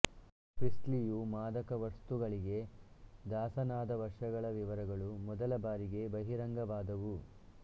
ಪ್ರೀಸ್ಲಿಯು ಮಾದಕವಸ್ತುಗಳಿಗೆ ದಾಸನಾದ ವರ್ಷಗಳ ವಿವರಗಳು ಮೊದಲ ಬಾರಿಗೆ ಬಹಿರಂಗವಾದವು